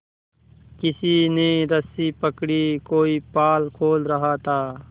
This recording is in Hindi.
किसी ने रस्सी पकड़ी कोई पाल खोल रहा था